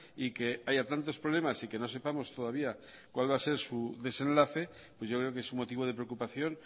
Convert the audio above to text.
y que haya tantos problemas y que no sepamos todavía cuál va a ser su desenlace pues yo creo que es un motivo de preocupación